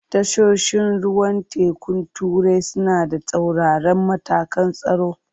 Tashoshin ruwan tekun turai suna da tsauraran matakan tsaro.